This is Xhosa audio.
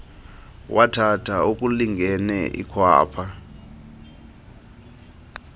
wathatha okulingene ikhwapha